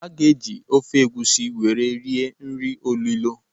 A ga-eji ofe egusi were rie nri olilo.